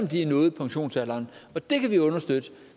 de har nået pensionsalderen det kan vi understøtte